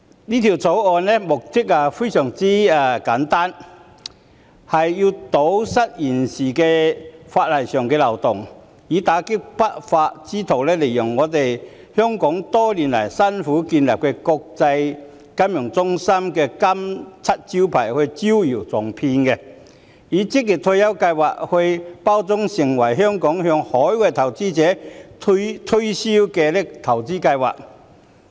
《條例草案》的目的非常簡單，是為了堵塞現時法例上的漏洞，以打擊不法之徒利用香港多年來辛苦建立的國際金融中心這個金漆招牌招搖撞騙，把職業退休計劃包裝成香港向海外投資者推銷的投資計劃。